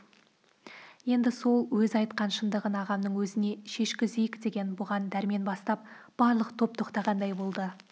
енді сол өзі айтқан шындығын ағамның өзіне шешкізейік деген бұған дәрмен бастап барлық топ тоқтағандай болды